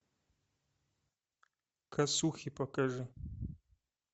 косухи покажи